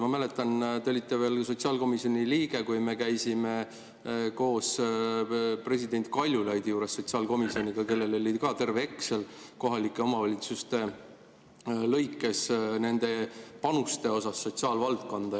Ma mäletan, te olite veel sotsiaalkomisjoni liige, kui me käisime koos sotsiaalkomisjoniga president Kaljulaidi juures, kellel oli ka terve Exceli tabel kohalike omavalitsuste lõikes nende panuste kohta sotsiaalvaldkonda.